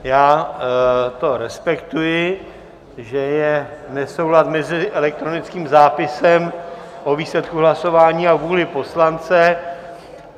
Já to respektuji, že je nesouhlas mezi elektronickým zápisem o výsledku hlasování a vůlí poslance.